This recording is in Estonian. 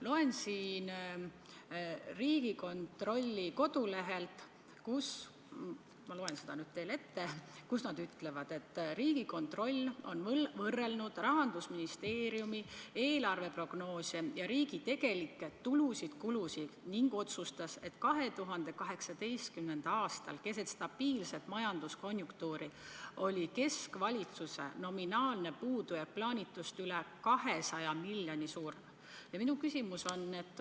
Loen Riigikontrolli kodulehelt, et Riigikontroll on võrrelnud Rahandusministeeriumi eelarveprognoose ja riigi tegelikke tulusid-kulusid ning osutab, et 2018. aastal keset stabiilset majanduskonjunktuuri oli keskvalitsuse nominaalne puudujääk plaanitust üle 200 miljoni suurem.